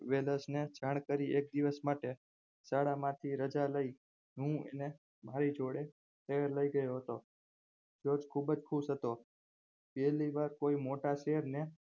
વેલેશને જાણ કરી એક દિવસ માટે શાળામાંથી રાજા લાય હું એને મારી જોડે શહેર લાય ગયો હતો તે ખુબજ ખુશ હતો પહેલી વાર કોઈ મોટા શહેરને